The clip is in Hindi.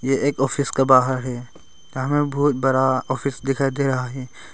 ये एक ऑफिस का बाहर है जहां बहुत बड़ा ऑफिस दिखाई दे रहा है।